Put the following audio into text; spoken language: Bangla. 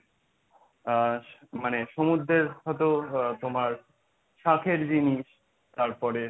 আর মানে সমুদ্রের হয়তো তোমার শাঁখের জিনিস তারপরে,